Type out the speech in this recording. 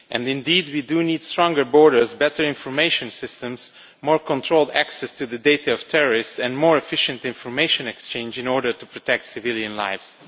Indeed we do need stronger borders, better information systems, more controlled access to the terrorist data and more efficient information exchange in order to protect civilian lives.